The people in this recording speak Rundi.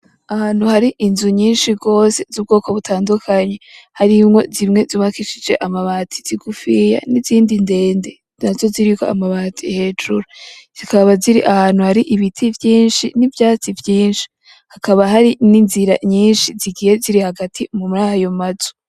Ahantu hari inzu nyinshi gose z,ubwoko butandukanye harimwo zimwe zubakishijwe amabati zigufiya hamwe nizindi ndende nazo ziriko amabati hejuru zikaba ziri ahantu hari ibiti vyinshi ni vyatsi vyinshi hakaba hari ninzira ziri hagati yayo mazu .